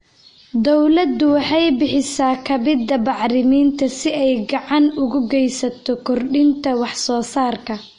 Dawladdu waxay bixisa kabida bacriminta si ay gacan uga geysato kordhinta wax soo saarka.